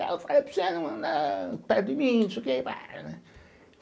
Tal eu falei para você não andar perto de mim, não sei o quê bahh, né